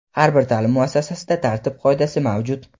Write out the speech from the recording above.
har bir ta’lim muassasasida tartib-qoidasi mavjud.